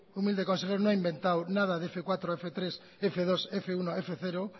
humilde consejero no ha inventado nada de f cuatro efe hiru efe bi efe bat efe zero